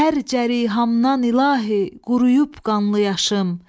Hər cərihamdan ilahi, quruyub qanlı yaşım.